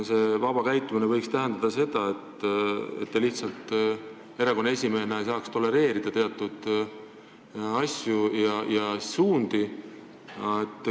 See vaba käitumine võiks tähendada seda, et te lihtsalt erakonnaesimehena ei saaks teatud asju ja suundi tolereerida.